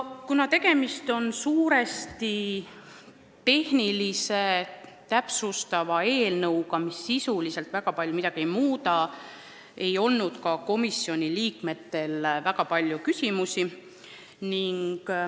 Kuna tegemist on suuresti tehnilise ja täpsustava eelnõuga, mis sisuliselt väga palju midagi ei muuda, siis ei olnud ka komisjoni liikmetel väga palju küsimusi.